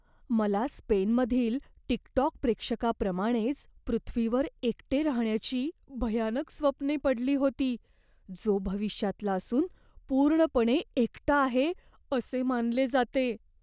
मला स्पेनमधील टिकटॉक प्रेक्षकाप्रमाणेच पृथ्वीवर एकटे राहण्याची भयानक स्वप्ने पडली होती, जो भविष्यातला असून पूर्णपणे एकटा आहे असे मानले जाते.